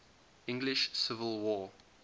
english civil war